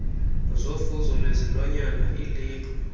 zofuzo lwezilwanyana ilebhu